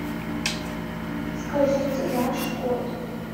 скажите ваш код